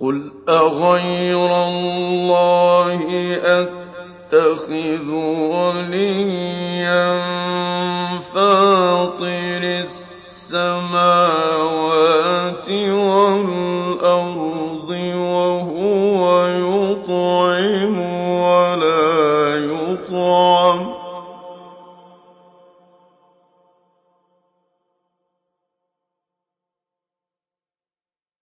قُلْ أَغَيْرَ اللَّهِ أَتَّخِذُ وَلِيًّا فَاطِرِ السَّمَاوَاتِ وَالْأَرْضِ وَهُوَ يُطْعِمُ وَلَا يُطْعَمُ ۗ